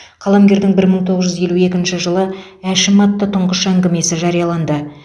қаламгердің бір мың тоғыз жүз елу екінші жылы әшім атты тұңғыш әңгімесі жарияланды